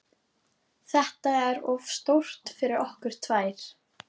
Þetta er of stórt fyrir okkur tvær.